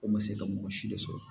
Ko n bɛ se ka mɔgɔ si de sɔrɔ